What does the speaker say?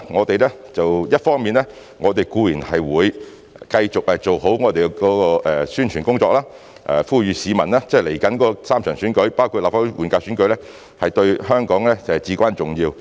但一方面，我們固然會繼續做好宣傳工作，即是未來的3場選舉，包括立法會換屆選舉，對香港是至關重要。